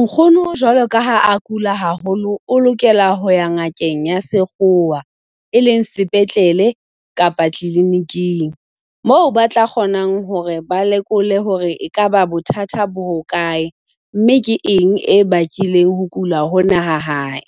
Nkgono jwalo ka ha a kula haholo o lokela ho ya ngakeng ya sekgowa. E leng sepetlele kapa kliniking. Moo ba tla kgonang hore ba lekole hore ekaba bothata bo ho kae, mme ke eng e bakileng ho kula hona ha hae.